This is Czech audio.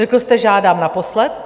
Řekl jste: Žádám naposled.